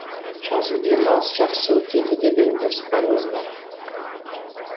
жазғы демалыс жақсы өтеді деген жоспарымыз бар